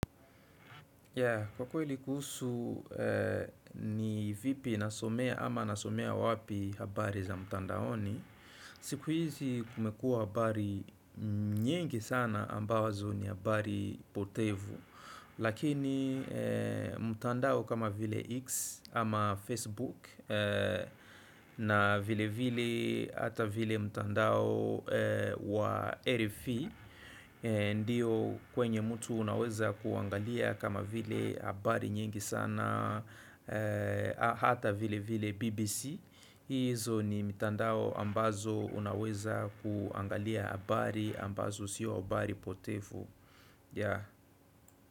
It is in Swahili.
Ya kwa kweli kuhusu ni vipi nasomea ama nasomea wapi habari za mtandaoni siku hizi kumekuwa habari nyingi sana ambazo ni habari potevu Lakini mtandao kama vile X ama Facebook na vile vile hata vile mtandao wa RFE Ndiyo kwenye mtu unaweza kuangalia kama vile habari nyingi sana Hata vile vile BBC Izo ni mitandao ambazo unaweza kuangalia habari ambazo sio habari potefu.